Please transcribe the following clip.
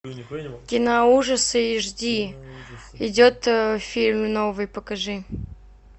киноужасы эйчди идет фильм новый покажи